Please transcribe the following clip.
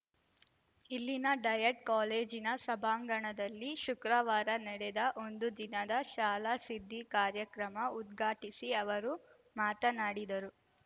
ಇಲ್ಲಿನ ಡಯಟ್‌ ಕಾಲೇಜಿನ ಸಭಾಂಗಣದಲ್ಲಿ ಶುಕ್ರವಾರ ನಡೆದ ಒಂದು ದಿನದ ಶಾಲಾಸಿದ್ದಿ ಕಾರ್ಯಕ್ರಮ ಉದ್ಘಾಟಿಸಿ ಅವರು ಮಾತನಾಡಿದರು